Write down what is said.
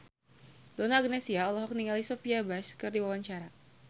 Donna Agnesia olohok ningali Sophia Bush keur diwawancara